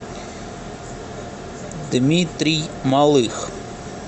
дмитрий малых